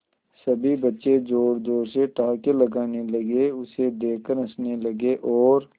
सभी बच्चे जोर जोर से ठहाके लगाने लगे उसे देख कर हंसने लगे और